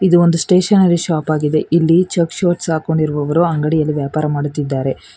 ಇದು ಒಂದು stationery shop ಆಗಿದೆ ಇಲ್ಲಿ ಚೆಕ್ಸ್ ಶರ್ಟ್ ಹಾಕ್ಕೊಂಡಿರೋರು ಅಂಗಡಿಯಲ್ಲಿ ವ್ಯಾಪಾರ ಮಾಡುತ್ತಿದ್ದಾರೆ.